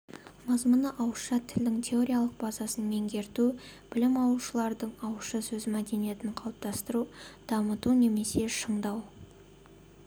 мазмұны ауызша тілдің теориялық базасын меңгерту білім алушылардың ауызша сөз мәдениетін қалыптастыру дамыту немесе шыңдау